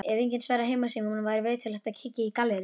Ef enginn svarar heimasímanum væri viturlegt að kíkja í galleríið.